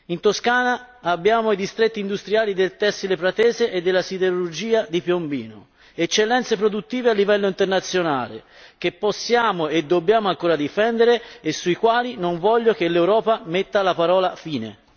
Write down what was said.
In Toscana, abbiamo i distretti industriali del tessile pratese e della siderurgia di Piombino, eccellenze produttive a livello internazionale che possiamo e dobbiamo ancora difendere e sulle quali non voglio che l'Europa metta la parola fine.